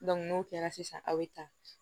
n'o kɛra sisan aw bɛ taa